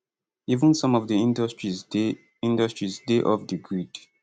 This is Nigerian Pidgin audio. even some of di industries dey industries dey off di grid